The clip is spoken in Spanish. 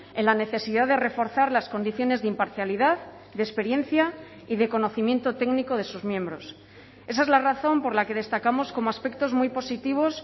en la necesidad de reforzar las condiciones de imparcialidad de experiencia y de conocimiento técnico de sus miembros esa es la razón por la que destacamos como aspectos muy positivos